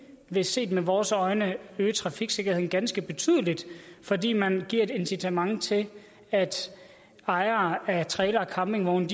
vil set med vores øjne øge trafiksikkerheden ganske betydeligt fordi man giver et incitament til at ejere af trailere og campingvogne